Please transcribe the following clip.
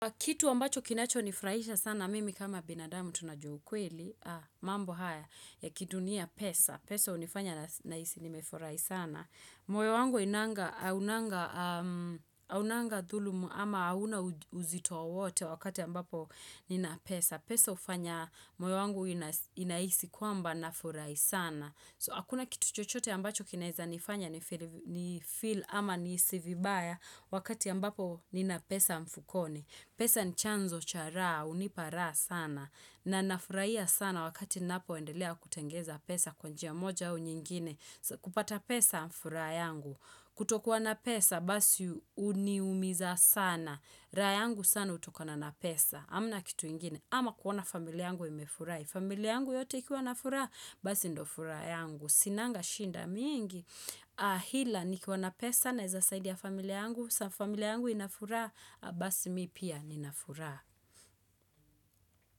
Kitu ambacho kinachonifurahisha sana, mimi kama binadamu tu najua ukweli, mambo haya, ya kidunia pesa. Pesa hunifanya nahisi nimefurahi sana. Moyo wangu hainanga, haunanga dhulumu ama hauna uzito wowote wakati ambapo nina pesa. Pesa hufanya, moyo wangu inahisi kwamba nafurahi sana. So, hakuna kitu chochote ambacho kinaeza nifanya nifeel ama nihisi vibaya wakati ambapo nina pesa mfukoni. Pesa ni chanzo cha raha, hunipa raha sana, na nafurahia sana wakati napoendelea kutengeza pesa kwa njia moja au nyingine, kupata pesa furaha yangu, kutokuwa na pesa basi huniumiza sana, raha yangu sana hutokana na pesa, hamna kitu ingine, ama kuona familia yangu imefurahi, familia yangu yote ikiwa na furaha, basi ndio furaha yangu, sinanga shida mingi, ila nikiwa na pesa naeza saidia familia yangu, saa familia yangu ina furaha Basi mi pia nina furaha.